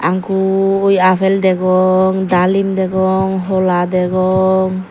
gui appel degong dalen degong hola degong.